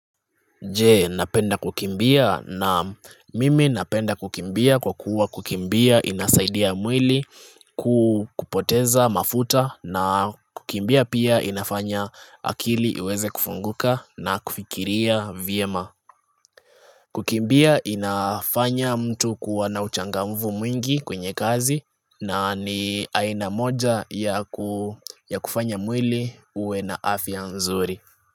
Je napenda kukimbia? Naam mimi napenda kukimbia kwa kuwa kukimbia inasaidia mwili ku kupoteza mafuta na kukimbia pia inafanya akili iweze kufunguka na kufikiria vyema Kukimbia inafanya mtu kuwa na uchangamvu mwingi kwenye kazi na ni aina moja yaku ya kufanya mwili uwe na afya nzuri.